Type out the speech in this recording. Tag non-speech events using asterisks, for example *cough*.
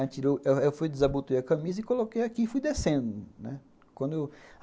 *unintelligible* eu fui, desabotoei a camisa, coloquei aqui e fui descendo, né. Quando eu